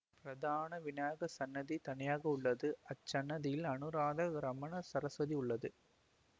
பிரதான விநாயகர் சன்னதி தனியாக உள்ளது அச்சன்னதியில் அனுராதா க்ரமன சரஸ்வதி உள்ளார்